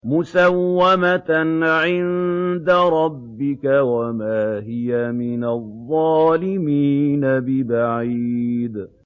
مُّسَوَّمَةً عِندَ رَبِّكَ ۖ وَمَا هِيَ مِنَ الظَّالِمِينَ بِبَعِيدٍ